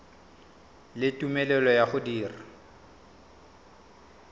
le tumelelo ya go dira